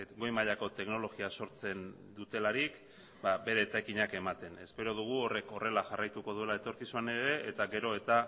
goi mailako teknologia sortzen dutelarik ba bere etekinak ematen espero dugu horrek horrela jarraituko duela etorkizunean ere eta gero eta